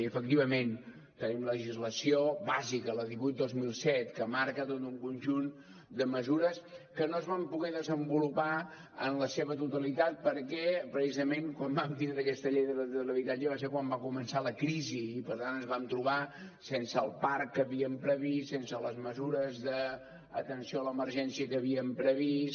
i efectivament tenim legislació bàsica la divuit dos mil set que marca tot un conjunt de mesures que no es van poder desenvolupar en la seva totalitat perquè precisament quan vam tindre aquesta llei de l’habitatge va ser quan va començar la crisi i per tant ens vam trobar sense el parc que havíem previst sense les mesures d’atenció a l’emergència que havíem previst